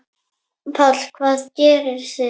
Páll: Hvað gerið þið?